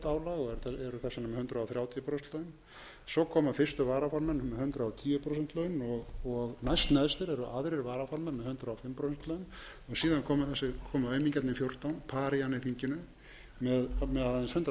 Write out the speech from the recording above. prósent laun svo koma fyrstu varaformenn með hundrað og tíu prósent laun og næstneðstir eru aðrir varaformenn með með hundrað og fimm prósent laun síðan koma aumingjarnir fjórtán parían í þinginu með aðeins hundrað prósent laun